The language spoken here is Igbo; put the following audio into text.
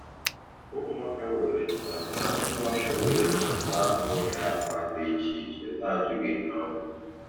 Ụmụaka were ntanta Ụmụaka were ntanta ahụ nwere agba dị iche iche na ajụghị ihe ọ bụ